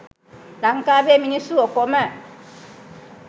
ලංකාවේ මිනිස්සු ඔකොම